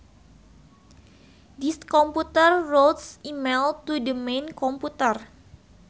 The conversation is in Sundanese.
This computer routes email to the main computer